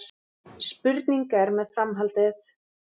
Spurning er með framhaldið